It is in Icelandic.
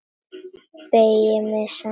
Beygi mig saman.